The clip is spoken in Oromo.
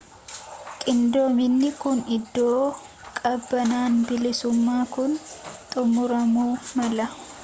qindoominni kun iddoo qabannaan bilisummaan kun xumuramuu mala